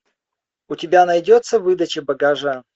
у тебя найдется выдача багажа